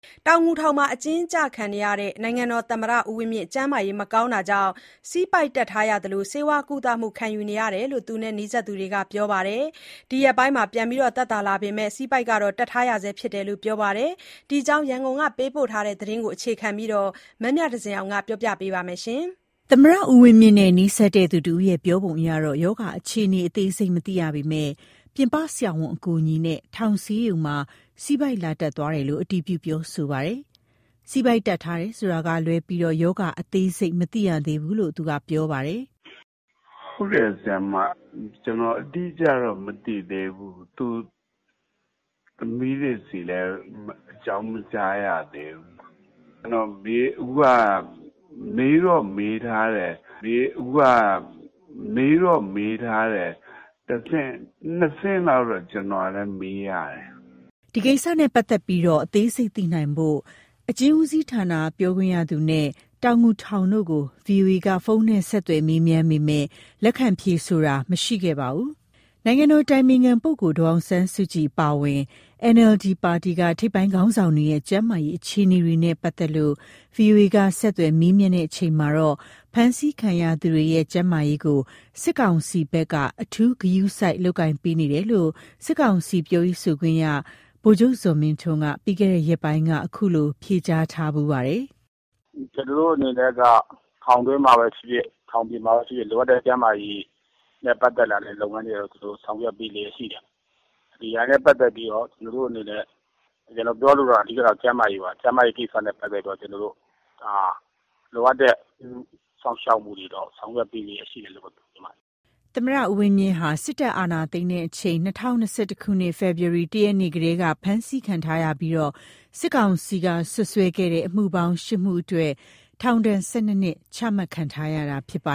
တောင်ငူထောင်မှာ အကျဉ်းကျနေတဲ့ နိုင်ငံတော်သမ္မတ ဦးဝင်းမြင့် ကျန်းမာရေးမကောင်းတာကြောင့် ဆီးပိုက်တပ်ထားရသလို ဆေးဝါးကုသမှု ခံယူနေရတယ်လို့ သူနဲ့နီးစပ် သူတွေက ပြောပါတယ်။ ဒီရက်ပိုင်း ပြန်လည်သက်သာ လာပေမယ့် ဆီးပိုက်တော့တပ်ထားရ ဆဲဖြစ်တယ်လို့ ပြောပါတယ်။ ဒီအကြောင်း ရန်ကုန်ကပေးပို့တဲ့သတင်းကို အခြေခံပြီး မမြသဇင်အောင်က ပြောပြပေးမှာပါ။ သမ္မတ ဦးဝင်းမြင့်နဲ့နီးစပ်သူတဦးရဲ့ပြောပုံအရ ရောဂါအခြေအနေ အသေးစိတ်မသိရပေမယ့် ပြင်ပဆရာဝန်အကူအညီနဲ့ ထောင်ဆေးရုံမှာ ဆီးပိုက် လာတပ်သွားတယ်လို့ အတည်ပြု ပြောဆိုပါတယ်။ ဆီးပိုက်တပ်ထားတယ်ဆိုတာကလွဲလို့ ရောဂါအသေးစိတ်ကို မသိရသေးဘူးလို့ သူကပြောပါတယ်။ “ဟုတ်တယ် ဆရာမ။ ကျနော်အတိအကျတော့မသိသေးဘူး။ မေးတော့မေးထားတယ်။ သူ့သမီးတွေဆီတောင် အကြောင်းမကြားရသေးဘူး။ အခုက မေးတော့မေးထားတယ်။ ကျနော်လည်း ၂ဆင့်လောက် မေးနေရတယ်။” ဒီကိစ္စနဲ့ပတ်သက်လို့ အသေးစိတ်သိနိုင်ဖို့ အကျဉ်းဦးစီးဌာန ပြောခွင့်ရသူနဲ့ တောင်ငူထောင်တို့ကို ဗွီအိုအေက ဖုန်းနဲ့ဆက်သွယ်မေးမြန်းပေမယ့် လက်ခံဖြေဆိုတာ မရှိခဲ့ပါဘူး။ နိုင်ငံတော်အတိုင်ပင်ခံပုဂ္ဂိုလ် ဒေါ်အောင်ဆန်းစုကြည် အပါအဝင် NLD ပါတီက ထိပ်ပိုင်းခေါင်းဆောင်တွေရဲ့ ကျန်းမာရေး အခြေအနေတွေနဲ့ပတ်သတ်လို့ ဗွီအိုအေက ဆက်သွယ်မေးမြန်းချိန်မှာတော့ ဖမ်းဆီးခံရသူတွေရဲ့ ကျန်းမာရေးကို စစ်ကောင်စီဘက်က အထူး ဂရုစိုက်လုပ်ကိုင်ပေးနေတယ်လို့ စစ်ကောင်စီ ပြောရေးဆိုခွင့်ရှိသူ ဗိုလ်ချုပ်ဇော်မင်းထွန်းက ပြီးခဲ့တဲ့ရက်ပိုင်းကဘဲ ခုလို ဖြေကြားထားဖူးပါတယ်။ “ကျနော်တို့အနေနဲ့က ထောင်တွင်းမှာဖြစ်ဖြစ်၊ ထောင်ပြင်မှာဖြစ်ဖြစ် လိုအပ်တဲ့ကျန်းမာရေး၊ လိုအပ်တဲ့ကျန်းမာရေးဆိုင်ရာ လုပ်ငန်းတွေ ဆောင်ရွက်ပေးနေတာရှိတယ်။ ဒါနဲ့ပတ်သတ်လို့ ကျနော်ပြောလိုတာက ကျန်းမာရေးပါ။ ကျန်းမာရေးနဲ့ပတ်သတ်လို့ လိုအပ်တဲ့ ကျန်းမာရေးစောင့် ရှောက်မှုတွေ လုပ်ပေးနေလျက်ရှိတယ်လို့ ပြောချင်ပါတယ်။” သမ္မတ ဦးဝင်းမြင့်ဟာ စစ်တပ်အာဏာသိမ်းချိန် ၂၀၂၁ ခုနှစ်၊ ဖေဖော်ဝါရီလ ၁ ရက်နေ့ကတည်းက ဖမ်းဆီးခံရပြီး စစ်ကောင်စီက စွပ်စွဲခဲ့တဲ့ အမှုပေါင်း ရှစ်မှုအတွက် ထောင်ဒဏ် ၁၂ နှစ် ချမှတ်ခံထားရတာ ဖြစ်ပ